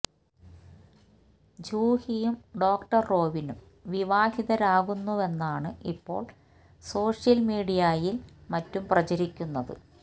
ജൂഹിയും doctor റോവിനും വിവാഹിതാരാകുന്നുവെന്നാണ് ഇപ്പോള് സോഷ്യല് മീഡിയയിലും മറ്റും പ്രചരിക്കുന്നത്